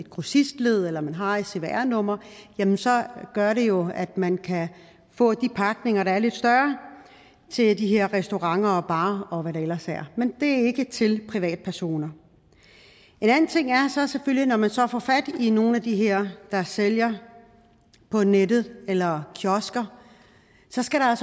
grossistled eller man har et cvr nummer så gør det jo at man kan få de pakninger der er lidt større til de her restauranter og barer og hvad der ellers er men det er ikke til privatpersoner en anden ting er at når man så får fat i nogle af de her der sælger på nettet eller kiosker så skal der